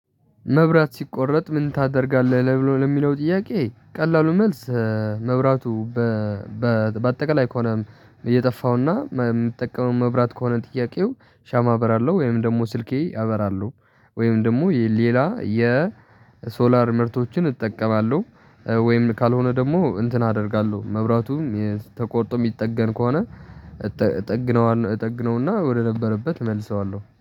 መብራት ሲቋረጥ ምን ታደርጋለህ? ለሚለው ጥያቄ ቀላሉ መልስ መብራቱ በአጠቃላይ ከሆነ እየጠፋውና የምትጠቀመው መብራት ከሆነ ጥያቄው ሻማ አበራለሁ ወይም ደግሞ ስልኬ ያበራሉ ወይም ደግሞ ሌላ የሶላር ምርቶችን እጠቀማለሁ ወይም ካልሆነ ደግሞ እንትን አደርጋለሁ መብራቱም የተቆርጦ የሚጠገን ከሆነ እጥግነዋለሁ እጠግነውና ወደነበረበት መልሰዋለሁ